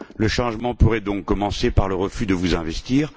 Le changement pourrait donc commencer par le refus de vous investir.